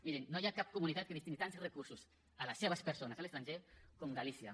mirin no hi ha cap comunitat que destini tants recursos a les seves persones a l’estranger com galícia